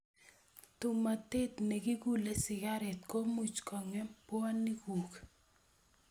Tomotet ne kikulee sigareet komuch kong'em puoniikuk.